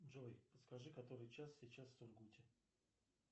джой подскажи который час сейчас в сургуте